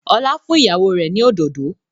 Ọlá fún ìyàwó rẹ̀ ni òdòdó